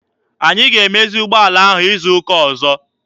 Anyị ga-emezi ụgbọala ahụ izu ụka ọzọ.